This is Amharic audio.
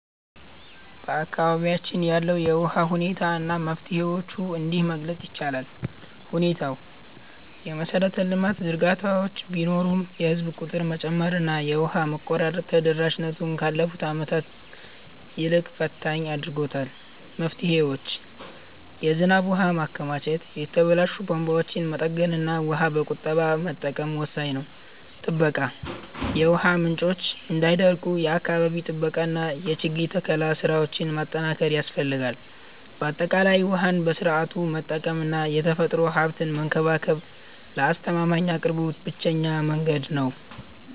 በአካባቢያችን ያለውን የውሃ ሁኔታ እና መፍትሄዎቹን እንዲህ መግለፅ ይቻላል፦ ሁኔታው፦ የመሰረተ ልማት ዝርጋታዎች ቢኖሩም፣ የህዝብ ቁጥር መጨመርና የውሃ መቆራረጥ ተደራሽነቱን ካለፉት ዓመታት ይልቅ ፈታኝ አድርጎታል። መፍትሄዎች፦ የዝናብ ውሃን ማከማቸት፣ የተበላሹ ቧንቧዎችን መጠገንና ውሃን በቁጠባ መጠቀም ወሳኝ ናቸው። ጥበቃ፦ የውሃ ምንጮች እንዳይደርቁ የአካባቢ ጥበቃና የችግኝ ተከላ ስራዎችን ማጠናከር ያስፈልጋል። ባጠቃላይ፣ ውሃን በስርዓቱ መጠቀምና የተፈጥሮ ሀብትን መንከባከብ ለአስተማማኝ አቅርቦት ብቸኛው መንገድ ነው።